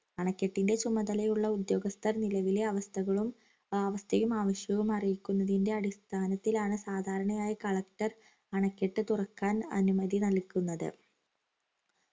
അണക്കെട്ടിന്റെ ചുമതലയുള്ള ഉദ്യോഗസ്ഥർ നിലവിലെ അവസ്ഥകളും അവസ്ഥയും അവശ്യവും അറിയിക്കുന്നതിന്റെ അടിസ്ഥാനത്തിലാണ് സാധാരണയായി collector അണക്കെട്ട് തുറക്കാൻ അനുമതി നൽകുന്നത്